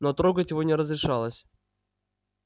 но трогать его не разрешалось